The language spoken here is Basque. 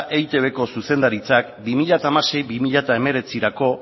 eitbko zuzendaritzak bi mila hamasei bi mila hemeretzirako